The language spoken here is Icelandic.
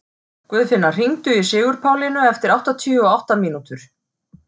Guðfinna, hringdu í Sigurpálínu eftir áttatíu og átta mínútur.